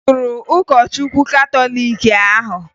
E gburu ụkọchukwu katọliiki ahụ